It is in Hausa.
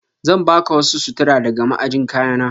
Zan baka wasu sutura daga ma'ajin kayana.